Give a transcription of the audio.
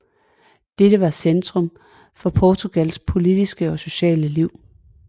Dette var centrum for Portugals politiske og sociale liv